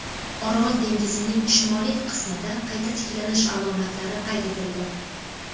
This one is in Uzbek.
Orol dengizining shimoliy qismida qayta tiklanish alomatlari qayd etildi.